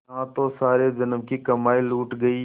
यहाँ तो सारे जन्म की कमाई लुट गयी